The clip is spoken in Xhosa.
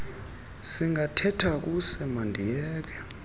singathetha kuse mandiyeke